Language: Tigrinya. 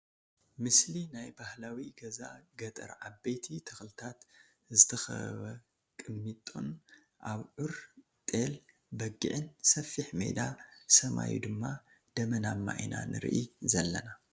ምስሊ ናይ ባህላዊ ገዛ ገጠር ዓበይቲ ተክሊታት ዝተከበበ ቅሚጦን ኣብዑር ፣ጤል ፣በጊዕን ሰፊሕ ሜዳ ሰማዩ ድማ ደመናማ ኢና ንርኢ ዘለና ።